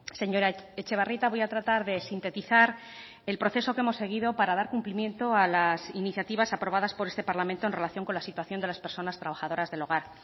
señora etxebarrieta voy a tratar de sintetizar el proceso que hemos seguido para dar cumplimiento a las iniciativas aprobadas por este parlamento en relación con la situación de las personas trabajadoras del hogar